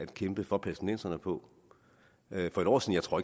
kæmpe for palæstinenserne på for en år siden tror